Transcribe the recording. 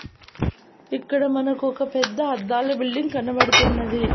ఇక్కడ మనకొక పెద్ద అద్దాల బిల్డింగ్ కనబడుతున్నది.